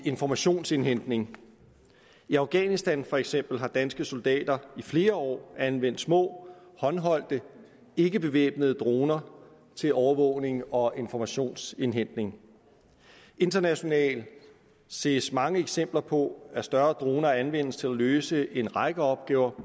informationsindhentning i afghanistan for eksempel har danske soldater i flere år anvendt små håndholdte ikkebevæbnede droner til overvågning og informationsindhentning internationalt ses mange eksempler på at større droner anvendes til at løse en række opgaver